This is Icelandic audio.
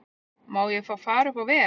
Má ég fá far upp á veg?